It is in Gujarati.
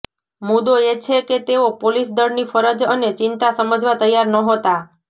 મુદ્દો એ છે કે તેઓ પોલીસ દળની ફરજ અને ચિંતા સમજવા તૈયાર નહોતા